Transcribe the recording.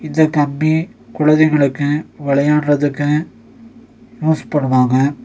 இந்த கம்பி குழந்தைகளுக்கு வெளையாட்றதுக்கு யூஸ் பண்ணுவாங்க.